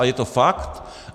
Ale je to fakt.